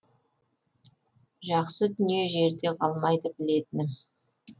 жақсы дүние жерде қалмайды білетінім